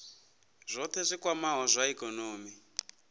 zwohe zwi kwamaho zwa ikonomi